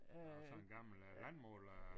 Nåh sådan en gammel øh landmåler